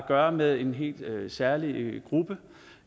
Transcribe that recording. gøre med en helt særlig gruppe